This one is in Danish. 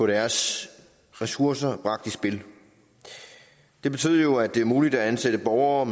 deres ressourcer bragt i spil det betyder jo at det er muligt at ansætte borgere